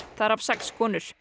þar af sex konur